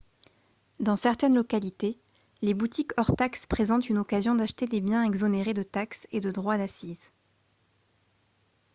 dans certaines localités les boutiques hors taxes présentent une occasion d'acheter des biens exonérés de taxes et de droits d'accise